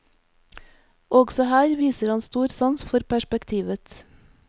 Også her viser han stor sans for perspektivet.